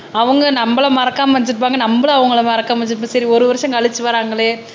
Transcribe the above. அவங்க நம்மல மறக்காமல் இருப்பாங்க நம்மளும் அவங்களை மறக்காம வெச்சிருப்போம் சரி ஒரு வருஷம் கழிச்சு வராங்களே